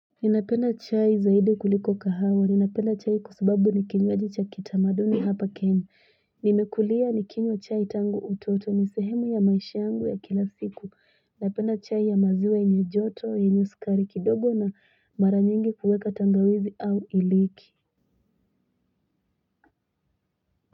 Ninapenda chai zaidi kuliko kahawa, ninapenda chai kwasababu nikinywaji cha kitamaduni hapa kenya. Nimekulia nikinywa chai tangu utotoni sehemu ya maisha yangu ya kila siku. Ninapenda chai ya maziwa yenye joto, ina sukari kidogo na mara nyingi huweka tangawizi au iliki.